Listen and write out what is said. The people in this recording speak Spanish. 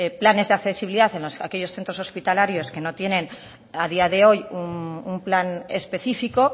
planes de accesibilidad en aquellos centros hospitalarios que no tienen a día de hoy un plan específico